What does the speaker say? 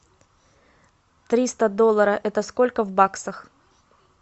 триста долларов это сколько в баксах